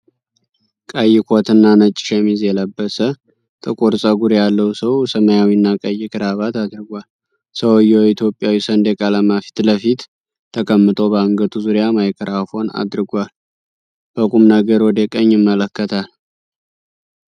ቀይ ኮትና ነጭ ሸሚዝ የለበሰ፣ ጥቁር ፀጉር ያለው ሰው ሰማያዊና ቀይ ክራቫት አድርጓል። ሰውየው ኢትዮጵያዊ ሰንደቅ ዓላማ ፊት ለፊት ተቀምጦ በአንገቱ ዙሪያ ማይክሮፎን አድርጓል። በቁም ነገር ወደ ቀኝ ይመለከታል።